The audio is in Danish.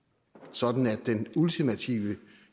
sådan at den ultimative